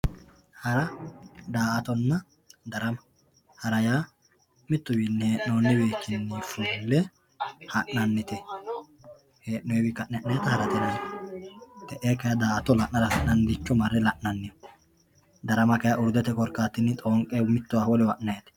Hara daa'atonna, darama, hara yaa mituwinni hee'noniwichini fu'le ha'nanite, hee'nowiyi ka'ne ha'nayita harate yinayi. te'e kayi da'ato la'nara fulayiricho ma're la'nayi. Darama kayi uridete korikattinni xoonqe mitowa wolewa ha'nayitte.